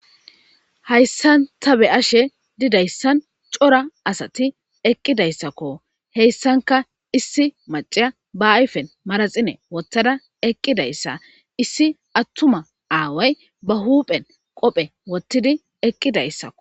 Hayssan ta be ashe didayssan cora asati eqqidayssakko heyssanka issi maciya ba ayfen maraxine wottada eqqidayssa issi attuma aaway ba huuphen qophe wottidi eqqidayssakko.